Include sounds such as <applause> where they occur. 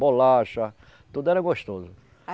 Bolacha, tudo era gostoso. <unintelligible>